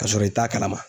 Ka sɔrɔ i t'a kalama